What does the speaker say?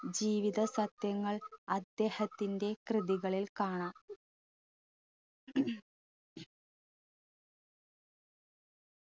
ജീവിസത്ത്യങ്ങൾ അദ്ദേഹത്തിന്റെ കൃതികളിൽ കാണാം